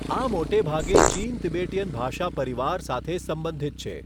આ મોટે ભાગે ચીન તિબેટીયન ભાષા પરિવાર સાથે સંબંધિત છે.